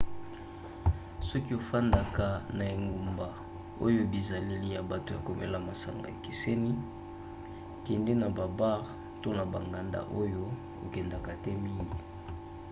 soki ofandaka na engumba oyo bizaleli ya bato ya komela masanga ekeseni kende na babare to na banganda oyo okendaka te mingi